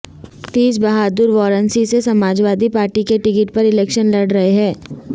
تیج بہادر وارانسی سے سماجوادی پارٹی کے ٹکٹ پر الیکشن لڑ رہے ہیں